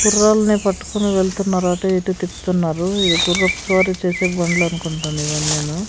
గుర్రాల్ని పట్టుకొని వెళ్తున్నారు అటు ఇటు తిప్పుతున్నారు ఇది గుర్రపు స్వారీ చేసే బండ్లనుకుంటాను ఇవన్నీను.